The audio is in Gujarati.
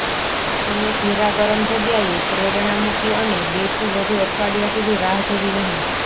અમે ઘેરા ગરમ જગ્યાએ પ્રેરણા મૂકી અને બેથી વધુ અઠવાડિયા સુધી રાહ જોવી નહીં